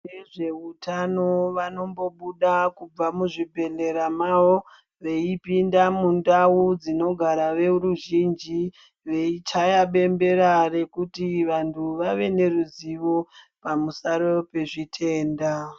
Vezveutano vanombobuda kubva muzvibhedhlera mwawo veipinda mndau dzinogara veruzhinji veichaya bembera kuti vantu vave neruzivo pamusoro nezvitenda.